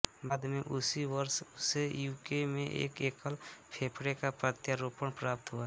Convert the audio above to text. बाद में उसी वर्ष उसे यूके में एक एकल फेफड़े का प्रत्यारोपण प्राप्त हुआ